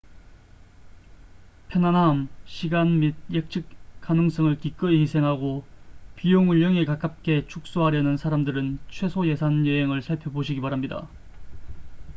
편안함 시간 및 예측 가능성을 기꺼이 희생하고 비용을 0에 가깝게 축소하려는 사람들은 최소 예산 여행을 살펴보시기 바랍니다